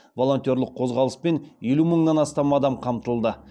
волонтерлік қозғалыспен елу мыңнан астам адам қамтылды